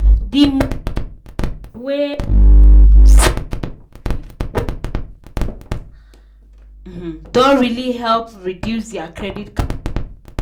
the money um wey um sarah dey give her old mama and papa um don really help reduce their credit card wahala.